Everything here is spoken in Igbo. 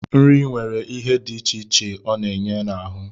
Nri nwere ihe dị iche iche ọ na-enye n'ahụ